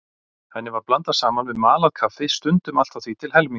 Henni var blandað saman við malað kaffi, stundum allt að því til helminga.